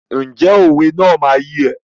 Ǹjẹ́ òwe náà máa yé ẹ?